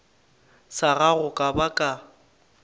sa gago ka ba ka